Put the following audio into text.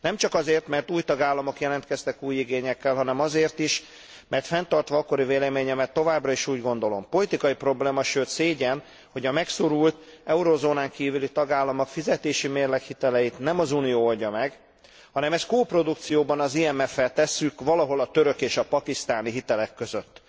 Nem csak azért, mert új tagállamok jelentkeztek új igényekkel, hanem azért is, mert fenntartva akkori véleményemet, továbbra is úgy gondolom, politikai probléma, sőt szégyen, hogy a megszorult, eurozónán kívüli tagállamok fizetésimérleg hiteleit nem az Unió oldja meg, hanem ezt koprodukcióban az IMF fel tesszük, valahol a török és a pakisztáni hitelek között.